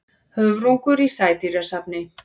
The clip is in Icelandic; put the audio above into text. Höfrungur í sædýrasafni.